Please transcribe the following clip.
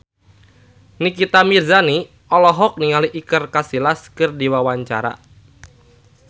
Nikita Mirzani olohok ningali Iker Casillas keur diwawancara